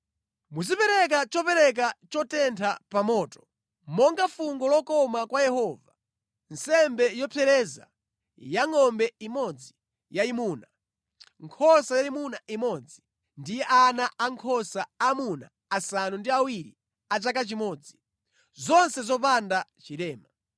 Muzipereka chopereka chotentha pa moto monga fungo lokoma kwa Yehova, nsembe yopsereza ya ngʼombe imodzi yayimuna, nkhosa yayimuna imodzi ndi ana ankhosa amuna asanu ndi awiri a chaka chimodzi, zonse zopanda chilema.